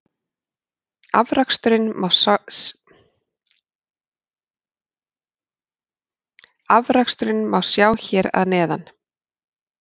Afraksturinn má sjá hér að neðan.